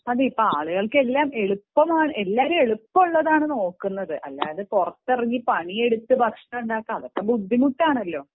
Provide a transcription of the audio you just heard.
അതെ ആളുകൾക്കെല്ലാം എളുപ്പമാണ് എല്ലാരും എളുപ്പമുള്ളതാണ് നോക്കുന്നത് അല്ലാണ്ട് പണിയെടുത്തു അതൊക്കെ ബുദ്ധിമുട്ടാണല്ലോ